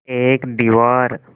एक दीवार